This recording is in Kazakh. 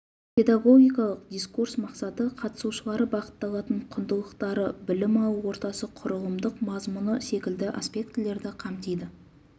педагогикалық дискурс мақсаты қатысушылары бағытталатын құндылықтары білім алу ортасы құрылымдық мазмұны секілді аспектілерді қамтиды